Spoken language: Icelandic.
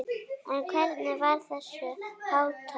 En hvernig var þessu háttað?